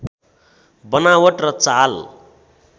बनावट र चाल